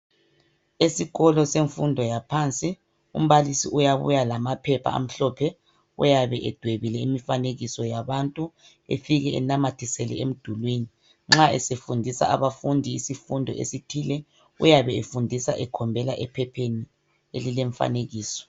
Esikolo semfundo yaphansi umbalisi uyabuya lamaphepha amhlophe. Uyabe edwebile imifanekiso yabantu, efike enamathisele emdulwini.,Nxa esefundisa abafundi esithile, uyabe efundisa ekhombela ephepheni elilemfanekiso.